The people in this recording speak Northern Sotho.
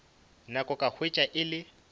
nako ka hwetša e le